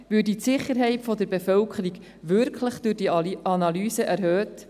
Würde die Sicherheit der Bevölkerung durch diese Analyse wirklich erhöht?